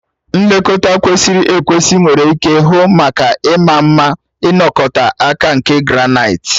Nlekọta kwesịrị ekwesị nwere ike hụ maka ịma mma na ịnọte aka nke granaịti.